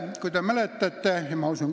Kolm minutit lisaaega.